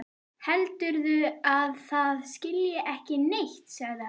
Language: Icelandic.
Heldur að það skilji ekki neitt, sagði hann.